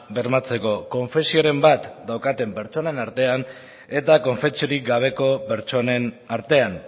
bermatzeko konfesioren bat daukaten pertsonen artean eta konfesiorik gabeko pertsonen artean